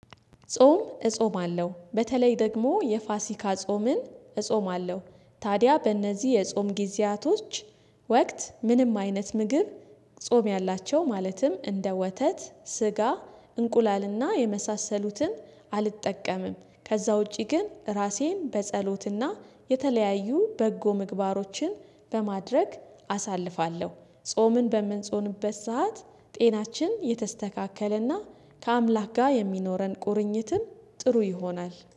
ጾም እጾማለሁ በተለይ ደግሞ የፋሲካ ጾምን እጾማለሁ ታዲያ በእነዚህ የጾም ጊዜያቶች ወቅት ምንም አይነት ምግብ ጾም ያላቸው ማለትም እንደ ወተት ስጋ እንቁላልና የመሳሰሉትን አልጠቀምም። ከዛ ውጪ ግን ራሴን በጸሎትና የተለያዩ በጎ ምግባሮችን በማድረግ አሳልፋለሁ። ጾምን በምንጾንበት ሰዓት ጤናችን የተስተካከለና ከአምላክ ጋር የሚኖረን ቁርኝትም ጥሩ ይሆናል